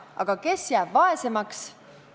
Aga kes jääb vaesemaks?